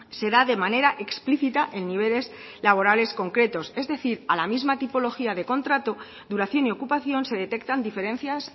se da de manera explícita en niveles laborales concretos es decir a la misma tipología de contrato duración y ocupación se detectan diferencias